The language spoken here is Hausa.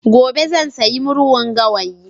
gobe zan sayi murhun gawayi